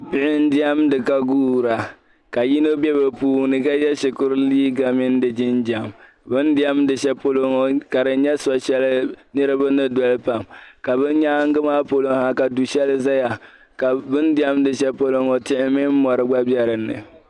Bihi diɛmdi ka guura ka yino bɛ be puuni ka ye shikuru liiga mini jinjɛm bɛni diɛmdi shɛli polo ka di so'shɛli niriba ni doli pam ka bɛ nyaaŋa maa polo ka du'shɛli ʒiya bɛ diɛmdi shɛlipolo ŋɔ tihi mi mɔri gba bɛ dini